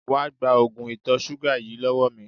Wá gba oògùn ìtọ̀ ṣúgà yìí lọ́wọ́ mi!